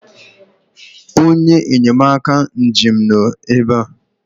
onye enyemaka njem nọ ebe a